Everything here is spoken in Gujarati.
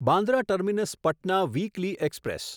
Bandra terminus Patna weekly express